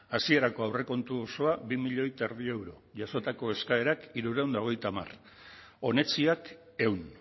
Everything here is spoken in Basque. hasierako aurrekontu osoa bi milioi eta erdi euro jasotako eskaerak hirurehun eta hogeita hamar onetsiak ehun